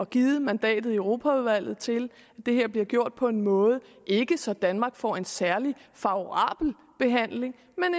givet mandatet i europaudvalget til at det her bliver gjort på en måde ikke så danmark får en særlig favorabel behandling